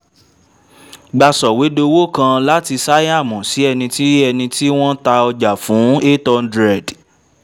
gba sọ̀wédowó kan láti shyam sí ẹni tí ẹni tí wọ́n ta ọjà fún eight hundred